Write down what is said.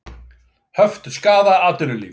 Höft skaða atvinnulíf